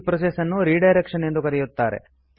ಈ ಪ್ರೋಸೆಸ್ ನ್ನು ರಿಡೈರೆಕ್ಷನ್ ಎಂದು ಕರೆಯಲಾಗುತ್ತದೆ